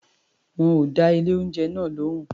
Wọn ò dá ilé-oúnjẹ náà lóhùn.